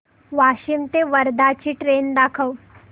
वाशिम ते वर्धा ची ट्रेन दाखव